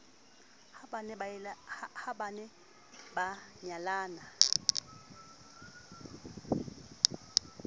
ha ba ne ba nyalana